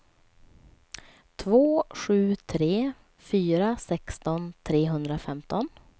två sju tre fyra sexton trehundrafemton